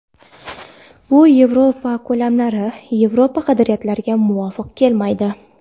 Bu Yevropa ko‘lamlari, Yevropa qadriyatlariga muvofiq kelmaydi”.